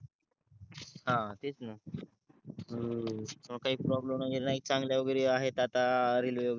हा तेच न काहीच प्रोब्लेम वगेरे आहेत आता रेलवे